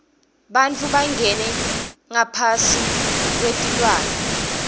bantfu bangena ngaphasi kwetilwane